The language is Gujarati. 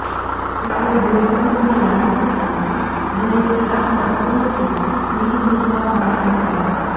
ત્યારે વીર શહીદને યાદ કરતા દરેકની આંખો અશ્રુઓથી ભીની થઈ જવા પામી હતી